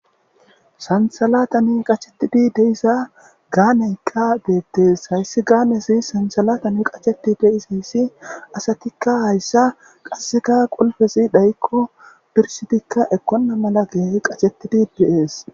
Santsalatani qachetidi deisa gaaneykka deettees hayssi gaanesi sansalatani qacheti deisayssi asatikka hayssa qasseka qulfessi dhaykko dursitikka ekkonna mala geehi qachettidi de'ees.